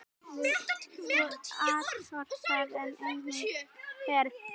Svo atorkan er einnig hér.